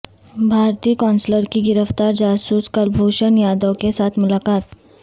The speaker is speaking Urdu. بھارتی قونصلر کی گرفتار جاسوس کلبھوشن یادیو کے ساتھ ملاقات